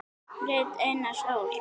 Rit Einars Ól.